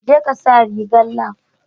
Jeka sa rigar lab